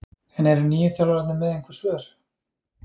En eru nýju þjálfararnir með einhver svör?